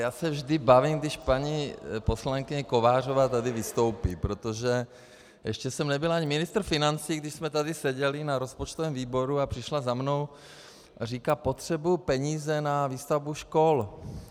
Já se vždy bavím, když paní poslankyně Kovářová tady vystoupí, protože ještě jsem nebyl ani ministr financí, když jsme tady seděli na rozpočtovém výboru a přišla za mnou a říká: Potřebuji peníze na výstavbu škol.